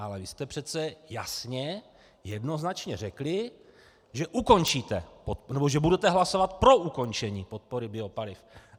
Ale vy jste přece jasně jednoznačně řekli, že ukončíte, nebo že budete hlasovat pro ukončení podpory biopaliv.